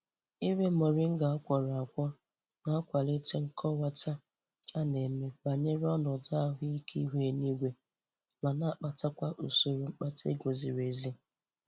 Ire moringa a kwọrọ akwọ na-akwalite nkọwata a na-eme banyere ọnọdu ahụ ike ihu eluigwe ma na-akpatakwa usoro mkpata ego ziri ezi.